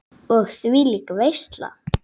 Og þvílík veisla!